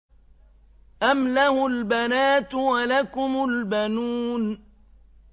أَمْ لَهُ الْبَنَاتُ وَلَكُمُ الْبَنُونَ